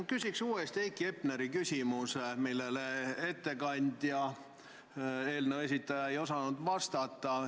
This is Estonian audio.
Ma küsin uuesti Heiki Hepneri küsimuse, millele eelnõu esitleja ei osanud vastata.